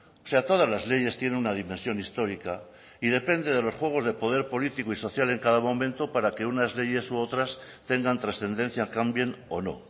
o sea todas las leyes tiene una dimensión histórica y depende de los juegos de poder político y social en cada momento para que unas leyes u otras tengan trascendencia cambien o no